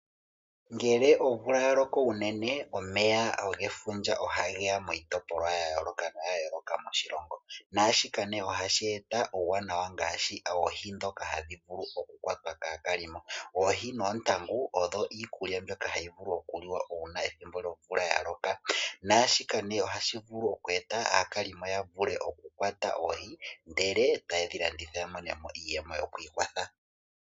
Ngele omvula yaloko unene omeya gefundja oha geya miitopolwa ya yooloka moshilongo, naashika ohashi eta uuwanawa ngaashi oohi ndhoka hadhi vulu okukwatwa kaakalimo . Oohi noontangu oyo iikulya mbyoka hayi vulu okuliwa uuna omvula ya loka naashika ohashi vulu oku eta aakalimo yavule oku kwata oohi ndele tayedhi landitha yamonemo iiyemo yoku ikwatha.